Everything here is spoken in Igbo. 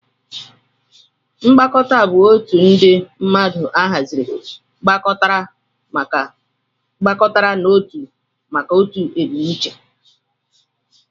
Mkpakọrita bu otu ndi mmadu ahaziri gbakọtaramaka n'otụ maka otụ ebumnuche.